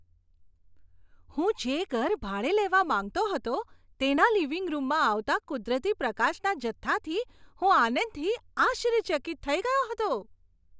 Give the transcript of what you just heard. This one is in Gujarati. હું જે ઘર ભાડે લેવા માંગતો હતો તેના લિવિંગ રૂમમાં આવતા કુદરતી પ્રકાશના જથ્થાથી હું આનંદથી આશ્ચર્યચકિત થઈ ગયો હતો.